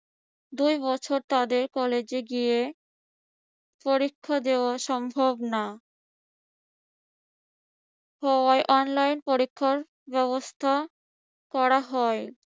দুই বছর তাদের কলেজে গিয়ে পরীক্ষা দেওয়া সম্ভব না হওয়ায় online পরীক্ষার ব্যবস্থা করা হয়।